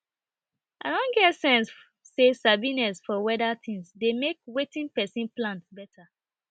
i don get sense say sabiness for weader tings dey make wetin person plant better